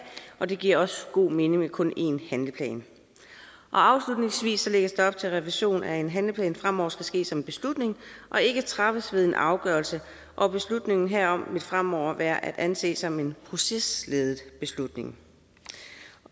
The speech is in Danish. og det giver også god mening med kun én handleplan afslutningsvis lægges der op til at revision af en handleplan fremover skal ske som en beslutning og ikke træffes ved en afgørelse og beslutningen herom vil fremover være at anse som en procesledet beslutning